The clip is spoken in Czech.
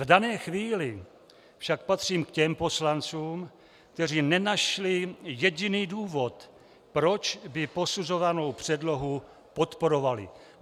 V dané chvíli však patřím k těm poslancům, kteří nenašli jediný důvod, proč by posuzovanou předlohu podporovali.